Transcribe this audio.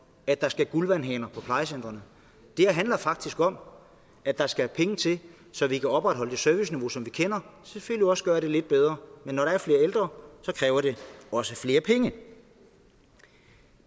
at der skal guldvandhaner på plejecentrene det her handler faktisk om at der skal penge til så vi kan opretholde det serviceniveau som vi kender selvfølgelig også gøre det lidt bedre men når der er flere ældre kræver det også flere penge